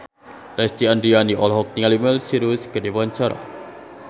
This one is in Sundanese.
Lesti Andryani olohok ningali Miley Cyrus keur diwawancara